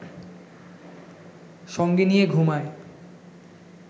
সঙ্গে নিয়ে ঘুমায়